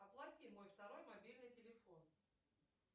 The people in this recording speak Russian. оплати мой второй мобильный телефон